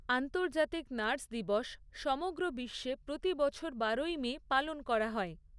আন্তৰ্জাতিক নার্স দিবস সমগ্র বিশ্বে প্ৰতিবছর বারোই মে পালন করা হয়।